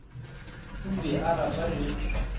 o be a rata ge